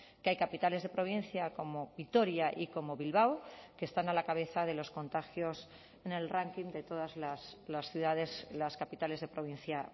que hay capitales de provincia como vitoria y como bilbao que están a la cabeza de los contagios en el ranking de todas las ciudades las capitales de provincia